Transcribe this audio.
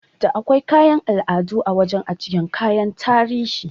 Da akwai kayan al'adu a wajan ajiyan kayan tarihi